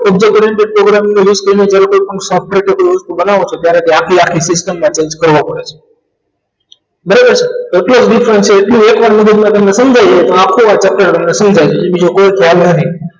Object oriented program નો use તેને કોઈપણ software કોઈ વસ્તુ બનાવો ત્યારે તે આખી આખી system ને change કરવા પડે છે બરાબર છે અત્યાર સુધી તમને એટલું એકવાર તમને મગજમાં સમજાય તો આખું વાક્ય તમને સમજાય અને બીજો કોઈ ખ્યાલ નથી